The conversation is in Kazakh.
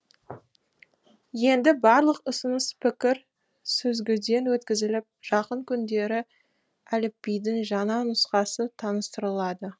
енді барлық ұсыныс пікір сүзгіден өткізіліп жақын күндері әліпбидің жаңа нұсқасы таныстырылады